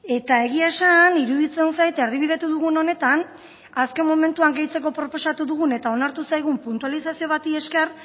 eta egia esan iruditzen zait erdibidetu dugun honetan azken momentuan gehitzeko proposatu dugun eta onartu zaigun puntualizazio bati esker